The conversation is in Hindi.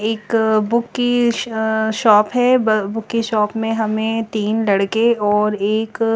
एक बुक की शॉप है बुक की शॉप में हमें तीन लड़के और एक --